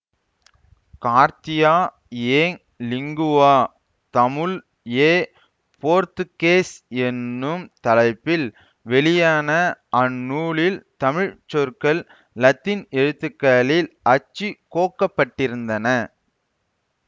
கார்த்தீயா ஏங் லிங்குவா தமுல் எ போர்த்துகேஸ் என்னும் தலைப்பில் வெளியான அந்நூலில் தமிழ் சொற்கள் இலத்தீன் எழுத்துக்களில் அச்சு கோக்கப்பட்டிருந்தன